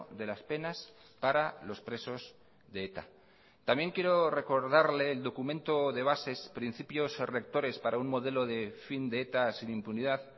de las penas para los presos de eta también quiero recordarle el documento de bases principios rectores para un modelo de fin de eta sin impunidad